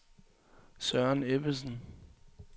Søren Ebbesen